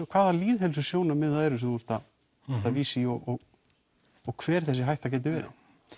hvaða lýðheilsusjónarmið það eru sem þú ert að vísa í og hver þessi hætta getur verið